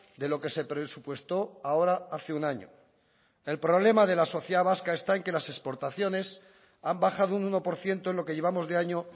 de lo que se presupuestó ahora hace un año el problema de la sociedad vasca está en que las exportaciones han bajado un uno por ciento en lo que llevamos de año